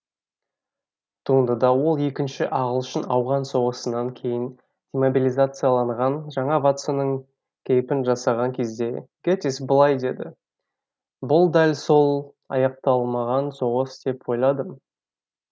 туындыда ол екінші ағылшын ауған соғысынан кейін демобилизацияланған жаңа ватсонның кейпін жасаған кезде гэтисс былай деді бұл дәл сол аяқталмаған соғыс деп ойладым